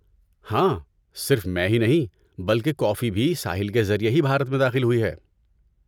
ہاں، صرف میں ہی نہیں بلکہ کافی بھی ساحل کے ذریعے ہی بھارت میں داخل ہوئی ہے۔